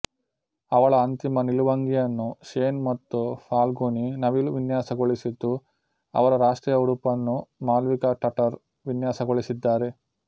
ಅವಳ ಅಂತಿಮ ನಿಲುವಂಗಿಯನ್ನು ಶೇನ್ ಮತ್ತು ಫಾಲ್ಗುನಿ ನವಿಲು ವಿನ್ಯಾಸಗೊಳಿಸಿದ್ದು ಅವರ ರಾಷ್ಟ್ರೀಯ ಉಡುಪನ್ನು ಮಾಲ್ವಿಕಾ ಟಟರ್ ವಿನ್ಯಾಸಗೊಳಿಸಿದ್ದಾರೆ